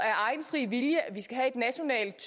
af egen fri vilje at vi skal have et nationalt